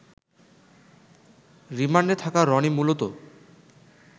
রিমান্ডে থাকা রনি মূলত